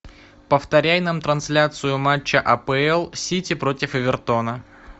повторяй нам трансляцию матча апл сити против эвертона